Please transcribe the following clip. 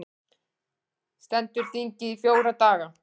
Stendur þingið í fjóra daga